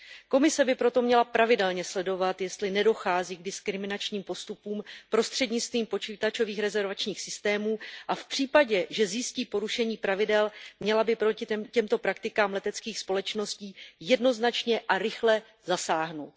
Komise by proto měla pravidelně sledovat, jestli nedochází k diskriminačním postupům prostřednictvím počítačových rezervačních systémů, a v případě, že zjistí porušení pravidel, by měla proti těmto praktikám leteckých společností jednoznačně a rychle zasáhnout.